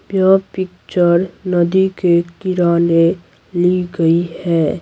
यह पिक्चर नदी के किराने ली गई है।